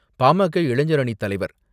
பா மா கா இளைஞர் அணிவத்தலைவர்